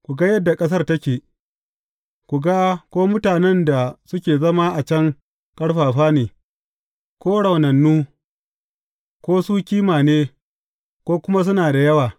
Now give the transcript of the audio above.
Ku ga yadda ƙasar take, ku ga ko mutanen da suke zama a can ƙarfafa ne, ko raunannu, ko su kima ne, ko kuma suna da yawa.